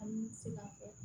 An bɛ se ka fɔ